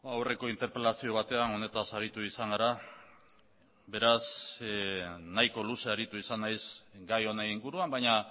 aurreko interpelazio batean honetaz aritu izan gara beraz nahiko luze aritu izan nahiz gai honen inguruan baina